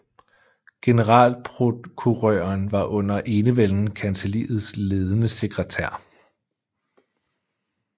Generalprokurøren var under enevælden kancelliets ledende sekretær